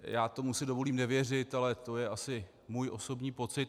Já si tomu dovolím nevěřit, ale to je asi můj osobní pocit.